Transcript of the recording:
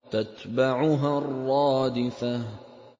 تَتْبَعُهَا الرَّادِفَةُ